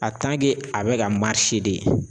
a bɛ ka de